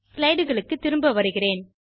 slideகளுக்கு திரும்ப வருகிறேன்